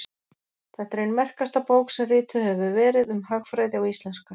þetta er ein merkasta bók sem rituð hefur verið um hagfræði á íslensku